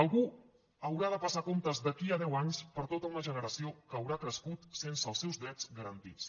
algú haurà de passar comptes d’aquí a deu anys per tota una generació que haurà crescut sense els seus drets garantits